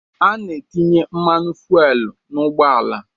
A na-etinye mmanụ fuelu n'ụgbọala